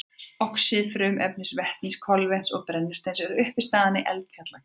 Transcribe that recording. Oxíð frumefnanna vetnis, kolefnis og brennisteins eru uppistaðan í eldfjallagasi.